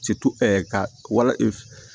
ka wala